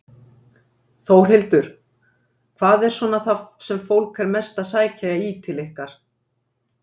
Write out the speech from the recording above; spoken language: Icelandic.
Þórhildur: Hvað er svona það sem fólk er mest að sækja í til ykkar?